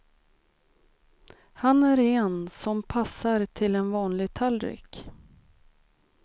Här är en som passar till en vanlig tallrik.